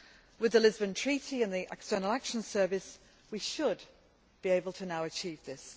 With the Lisbon Treaty and the External Action Service, we should now be able to achieve this.